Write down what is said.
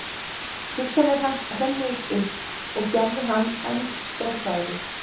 Hugsanir hans hrönnuðust upp og gerðu hann enn stressaðri.